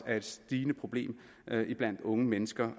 er et stigende problem iblandt unge mennesker